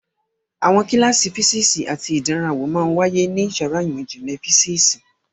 Àwọn kíláàsì físíìsì àti ìdánrawò máa ń wáyé ní yàrá ìmọ̀ ìjìnlẹ̀ físíìsì.